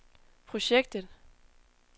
projektet